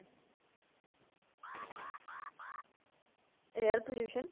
air pollution